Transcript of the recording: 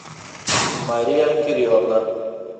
мария кирилловна